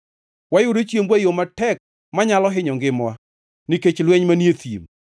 Wayudo chiembwa e yo matek manyalo hinyo ngimawa nikech lweny manie thim.